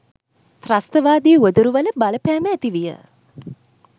ත්‍රස්තවාදී උවදුරුවල බලපෑම ඇති විය.